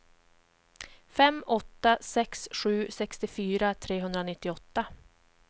fem åtta sex sju sextiofyra trehundranittioåtta